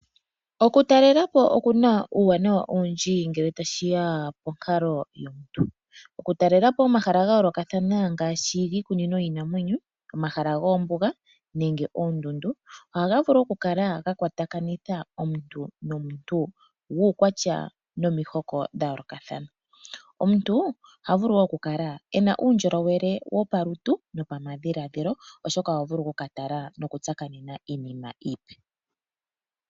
Okutalela po oku na uuwanawa owindji ngele tashi ya ponkalo yomuntu. Okutalela po omahala ga yoolokathana ngaashi giikunino yiinamwenyo, omahala goombuga nenge oondundu, ohaga vulu okukala ga kwatakanitha omuntu nomuntu guukwatya wa nomihoko dha yoolokathana. Omuntu oha vulu wo okukala e na uundjolowele wopalutu nopamadhiladhilo, oshoka oha vulu okukatala nokutsakaneka iinima iipe.